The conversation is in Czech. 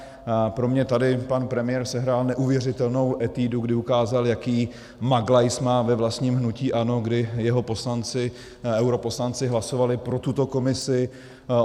Pro mě tady pan premiér sehrál neuvěřitelnou etudu, kdy ukázal, jaký maglajs má ve vlastním hnutí ANO, kdy jeho poslanci, europoslanci, hlasovali pro tuto Komisi.